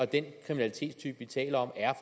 den kriminalitetstype vi taler om er